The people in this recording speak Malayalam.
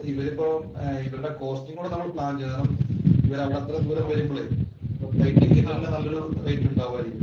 ഇവരിപ്പോ ഇവരുടെ കോസ്റ്റിങ്ങ് കൂടെ നമ്മള് പ്ലാന്‍ ചെയ്യണം. കാരണം ഇവരത്രേം ദൂരം വരുമ്പളേ. അവരുടെ പ്ലയിന്‍ ടിക്കറ്റ്‌ തന്നെ നല്ലൊരു റേറ്റ് ഉണ്ടാവുമായിരിക്കും.